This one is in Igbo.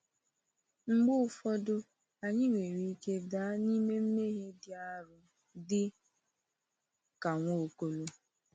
Mgbe ụfọdụ, anyị nwere ike daa n’ime mmehie dị arọ dị ka Nwaokolo.